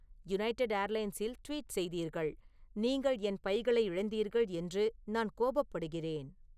United ஏர்லைன்ஸில் tweet செய்தீர்கள் நீங்கள் என் பைகளை இழந்தீர்கள் என்று நான் கோபப்படுகிறேன்